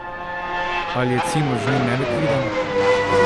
Ali je Cimos že nelikviden?